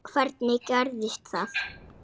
Hvernig gerðist það?